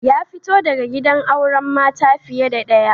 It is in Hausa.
Ya fito daga gidan auren mata fiye da daya.